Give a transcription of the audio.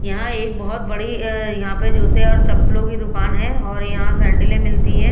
यहां एक बहुत बड़ी अ यहां पर जूते और चप्पलों की दुकान है और यहां सैंडलें मिलती हैं।